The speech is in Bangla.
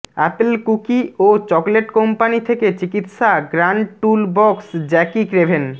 অ্যাপল কুকি ও চকলেট কোম্পানি থেকে চিকিত্সা গ্র্যান্ড টুল বক্স জ্যাকি ক্রেভেন